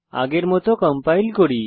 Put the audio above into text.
আগের মত কম্পাইল করি